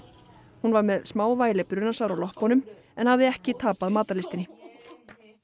hún var með smávægileg brunasár á loppunum en hafði ekki tapað matarlystinni